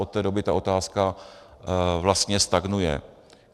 Od té doby ta otázka vlastně stagnuje.